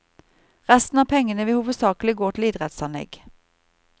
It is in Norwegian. Resten av pengene vil hovedsakelig gå til idrettsanlegg.